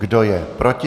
Kdo je proti?